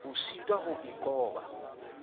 o sitwang ho a qoba